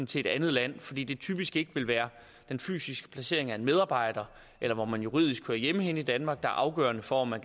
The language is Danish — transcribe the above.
til et andet land fordi det typisk ikke vil være den fysiske placering af en medarbejder eller hvor man juridisk hører hjemme henne i danmark der er afgørende for om man